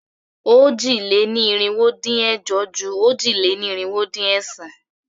Òjì-lé-ní-irinwó-dín-ẹ̀jọ ju òjì-lé-ní-irinwó-dín-ẹ̀sán.